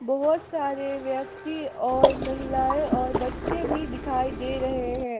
बहुत सारे व्यक्ति और महिलाएं और बच्चे भी दिखाई दे रहे हैं।